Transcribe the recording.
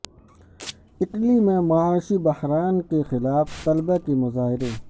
Italy میں معاشی بحران کے خلاف طلبہ کے مظاہرے